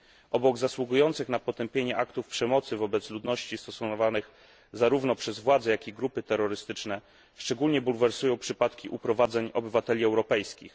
Obok zasługujących na potępienie aktów przemocy wobec ludności, stosowanych zarówno przez władze, jak i grupy terrorystyczne, szczególnie bulwersują przypadki uprowadzeń obywateli europejskich.